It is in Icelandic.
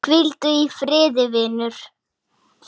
Stallur getur átt við